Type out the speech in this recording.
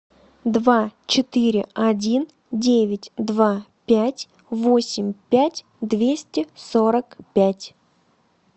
два четыре один девять два пять восемь пять двести сорок пять